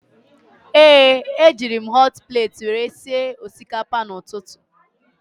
Ee, ejiri m họt pleeti were sie osikapa n'ụtụtụ